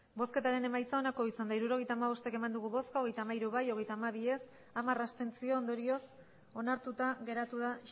hirurogeita hamabost eman dugu bozka hogeita hamairu bai hogeita hamabi ez hamar abstentzio ondorioz onartuta geratu da